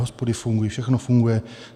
Hospody fungují, všechno funguje.